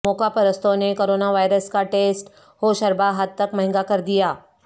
موقع پرستوں نے کرونا وائرس کا ٹیسٹ ہوشربا حد تک مہنگا کر دیا